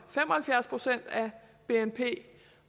bnp